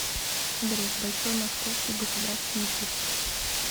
адрес большой московский государственный цирк